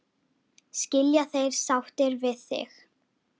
Skilja þeir sáttir við þig?